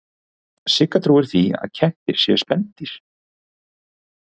Sigga trúir því að kettir séu spendýr.